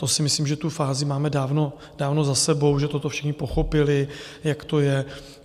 To si myslím, že tu fázi máme dávno za sebou, že toto všichni pochopili, jak to je.